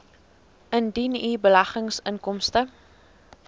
indien u beleggingsinkomste